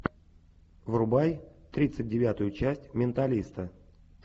врубай тридцать девятую часть менталиста